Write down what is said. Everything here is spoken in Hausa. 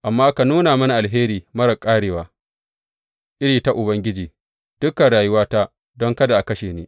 Amma ka nuna mini alheri marar ƙarewa iri ta Ubangiji dukan rayuwata don kada a kashe ni.